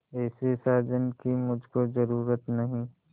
ऐसे साजन की मुझको जरूरत नहीं